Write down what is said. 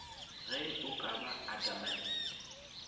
ge o ka ba adamant